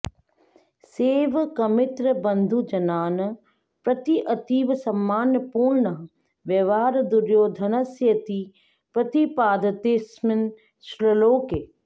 सेवकमित्रबन्धुजनान् प्रति अतीव सम्मानपूर्णः व्यवहारः दुर्योधनस्येति प्रतिपाद्यतेऽस्मिन् श्लोके